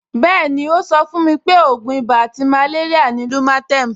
Bẹ́ẹ̀ni, ó sọ fún mi pé ògùn ibà àti màléríà ni lumatem